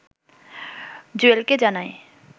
জুয়েলকে জানায়